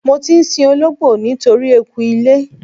Mo ti ń sin olóńgbò nítorí eku ilé.